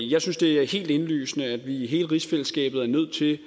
jeg synes det er helt indlysende at vi i hele rigsfællesskabet er nødt til